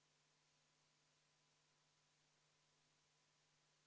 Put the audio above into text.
Pikem arutelu toimus meil enne toomist siia esimesele lugemisele, kuid ka seekord seda teemat puudutati.